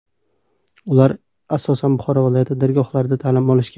Ular asosan Buxoro viloyati dargohlarida ta’lim olishgan.